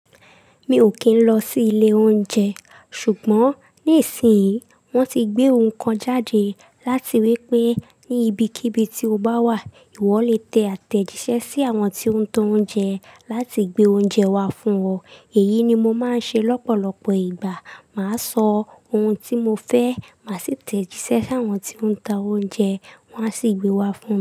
Mi ò kì ń lọ sí ilé oúnjẹ ṣùgbọ́n ní ìsinyì wọ́n ti gbé oun kan jáde láti wípé ní ibikíbi tí ó bá wà, ìwọ lè te átẹ́jíṣẹ́ sí àwọn tí ń ta oúnjẹ láti gbé oúnjẹ wá fún ọ. Èyí ni mo ma ń ṣe lọ́pọ̀lọpọ̀ ìgbà. Ma sọ oun tí mo fẹ́, má sì tẹ́jíṣẹ́ sí àwọn tí ó ń ta oúnjẹ, wọ́n á sì gbé wá fún.